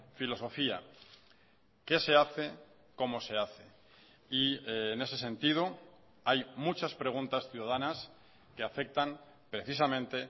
filosofía qué se hace cómo se hace y en ese sentido hay muchas preguntas ciudadanas que afectan precisamente